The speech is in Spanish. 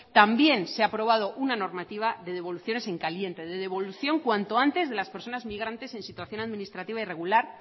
también se ha aprobado una normativa de devoluciones en caliente de devolución cuanto antes de las personas inmigrantes en situación administrativa irregular